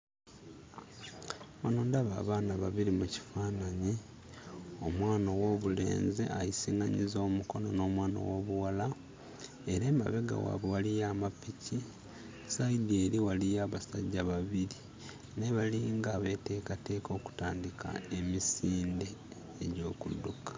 Wano ndaba abaana babiri mu kifaananyi; omwana ow'obulenezi ayisiŋŋanyizza omukono n'omwana ow'obulwala era emabega waabwe waliyo amapiki, sayidi eri waliyo abasajja babiri, naye balinga abeeteekateka okutandika emisinde egy'okudduka.